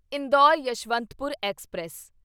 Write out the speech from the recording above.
Indore Yeshwantpur express